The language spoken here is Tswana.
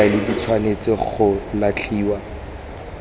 difaele di tshwanetse go latlhiwa